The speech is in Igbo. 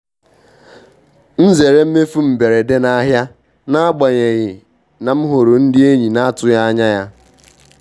M zere mmefu mberede n'ahịa n'agbanyeghị na m hụrụ ndị enyi na-atụghị anya ya.